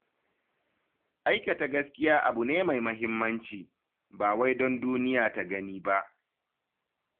Aikata gaskiya abu ne mai mahimmanci, ba wai don duniya ta gani ba.